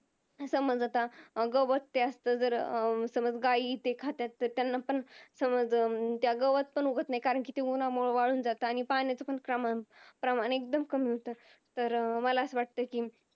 समज आता अं गवत ते असत जर समज गायी ते खात्यात तर त्यांना पण समज अं त्यात गवत पण उगवत नाही कारण कि ते उन्हामुळ वाळून जात आणि पाण्याचं पण प्रमाण प्रमाण एक्दम कमी होत तर मला अस वाटत कि